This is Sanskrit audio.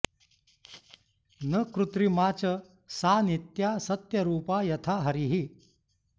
न कृत्रिमा च सा नित्या सत्यरूपा यथा हरिः